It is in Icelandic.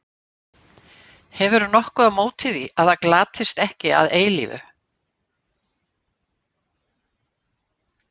Hefurðu nokkuð á móti því að það glatist ekki að eilífu?